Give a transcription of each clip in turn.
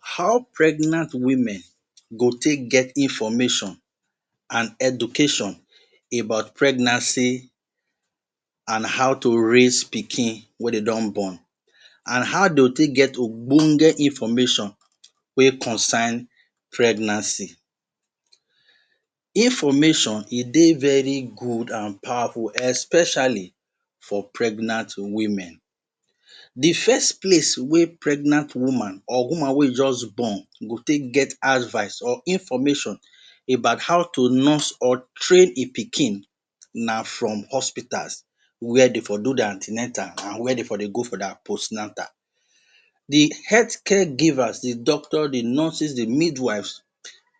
How pregnant women go fit get information and education about pregnancy and how you raise pikin wey dem don born. And how dem go take get ogbonge information wey concern pregnancy. Information e dey very good and powerful especially for pregnant women. Di first place wey pregnant woman or woman wey just born go take get advice or information about how to nurse or train im pikin na from hospitals where dey for do dia an ten atals and where dey for dey go for dia post natal. Di health care gives, di doctors, di nurses, di midwives,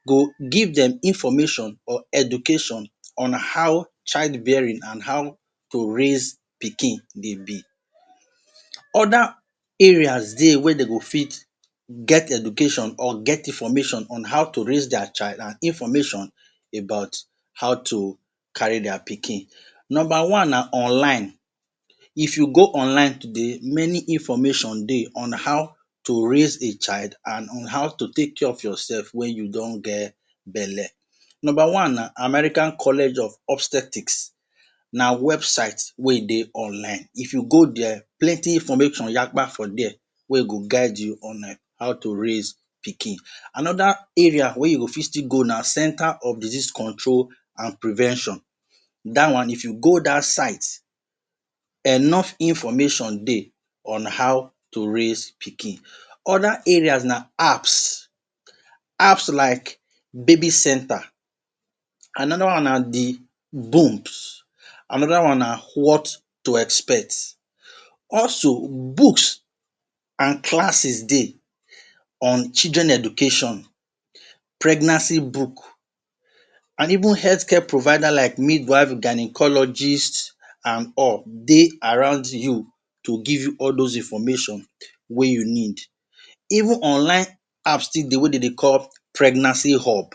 go give dem information or education on how child bearing and how to raise pikin dey be. Oda areas dey wey dem go fit get education or get information on how to raise dia child and information about how to carry dia pikin. Number one, na online. If you go online today, meaning information dey on how to raise a child and on how to take care of yourself wen you don get belle. Number one na, American college of obstetrics, na website wey dey online if you go dia plenty information yakpa for dia wey go guide you on how to rise pikin. Anoda area wey you go fit still go na Center of Disease Control and Prevention. Dat one, if you go dat site enough information dey on how to raise pikin oda areas na apps, apps like Baby Center. Anoda one na "The booms". Anoda one na "What to expect". Also books and classes dey on children education, pregnancy book and even health care providers like midwives, gynaecologist and all, dey around you to give you all those information wey you need. Even online apps still dey wey dem dey call "Pregnancy hub".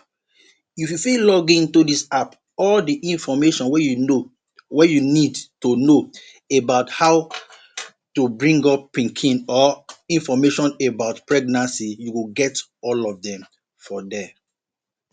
If you fit login into dis app all di information wey you know, wey you need to know about how to bring up pikin or information about pregnancy you go get all of dem for there.